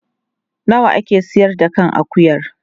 Nawa a ke sayar da kan akuyar?